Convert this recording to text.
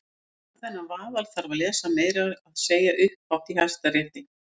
Og allan þennan vaðal þarf að lesa- meira að segja upphátt í Hæstarétti!